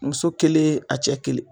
Muso kelen a cɛ kelen.